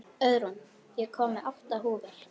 Auðrún, ég kom með átta húfur!